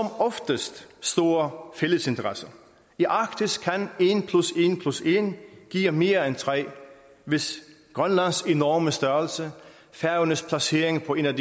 oftest store fælles interesser i arktis kan en plus en plus en give mere end tre hvis grønlands enorme størrelse færøernes placering på en af